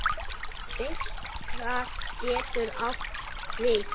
Birta getur átt við